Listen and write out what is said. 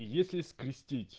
если скрестить